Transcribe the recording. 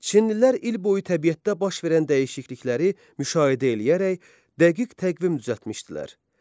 Çinlilər il boyu təbiətdə baş verən dəyişiklikləri müşahidə eləyərək dəqiq təqvim düzəltmişdilər.